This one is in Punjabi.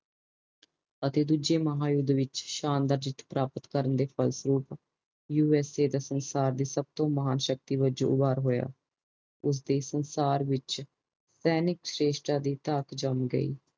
ਅਤੇ ਦੂਜੇ ਮਹਾ ਯੂੱਧ ਦੇ ਵਿਚ ਸ਼ਾਨਦਾਰ ਜੀਤ ਪਓਰਾਪਤ ਕਰਨ ਦੇ ਫਲਸਰੂਪ ਯੂ ਐਸ ਏ ਸੰਸਾਰ ਦੀ ਸਬਤੋ ਵੱਡੀ ਮਹਾਂਸ਼ਕਤੀ ਵਜੋਂ ਹੋਇਆ ਉਸਦੀ ਸੰਸਾਰ ਵਿਚ ਦੈਨਿਕ ਸ਼੍ਰੇਸ਼ਟ ਦੀ ਧਾਤ ਜਾਮ ਗਯੀ